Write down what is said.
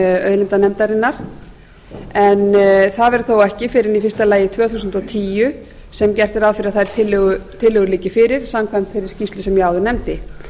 auðlindanefndarinnar en það verður þó ekki fyrr en í fyrsta lagi tvö þúsund og tíu sem gert er ráð fyrir að þær tillögur liggi fyrir samkvæmt þeirri skýrslu sem ég áður nefndi